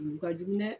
U ka jugu dɛ